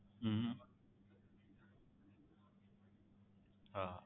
હમ હા હા